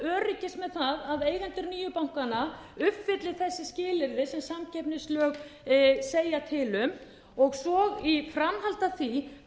öryggis með það að eigendur nýju bankanna uppfylli þessi skilyrði sem samkeppnislög segja til um og svo í framhaldi af því